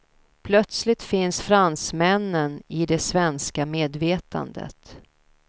Plötsligt finns fransmännen i det svenska medvetandet.